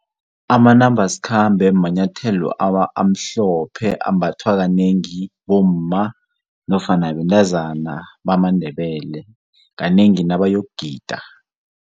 Amanambaskhambe manyethelo amhlophe ambathwa kanengi bomma nofana bentazana bamaNdebele kanengi nabayokugida.